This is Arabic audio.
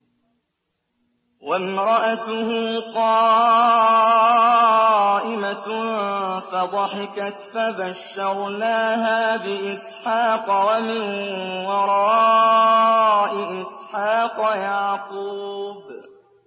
وَامْرَأَتُهُ قَائِمَةٌ فَضَحِكَتْ فَبَشَّرْنَاهَا بِإِسْحَاقَ وَمِن وَرَاءِ إِسْحَاقَ يَعْقُوبَ